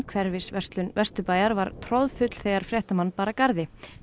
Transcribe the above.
hverfisverslun Vesturbæjar var troðfull þegar fréttamann bar að garði